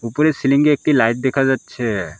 উপরে সিলিং -এ একটি লাইট দেখা যাচ্ছে।